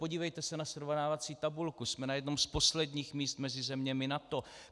Podívejte se na srovnávací tabulku, jsme na jednom z posledních míst mezi zeměmi NATO.